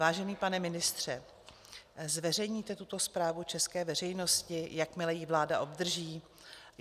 Vážený pane ministře, zveřejníte tuto zprávu české veřejnosti, jakmile ji vláda obdrží?